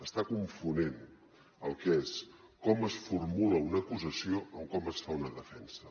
està confonent el que és com es formula una acusació amb com es fa una defensa